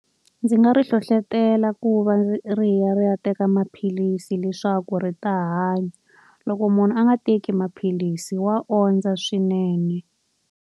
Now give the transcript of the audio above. Ndzi nga ri hlohletela ku va ri ri ya ri ya teka maphilisi leswaku ri ta hanya. Loko munhu a nga teki maphilisi wa ondza swinene.